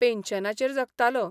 पेन्शनाचेर जगतालो.